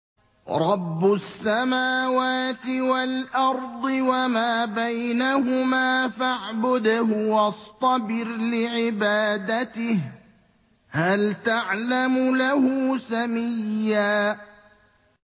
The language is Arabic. رَّبُّ السَّمَاوَاتِ وَالْأَرْضِ وَمَا بَيْنَهُمَا فَاعْبُدْهُ وَاصْطَبِرْ لِعِبَادَتِهِ ۚ هَلْ تَعْلَمُ لَهُ سَمِيًّا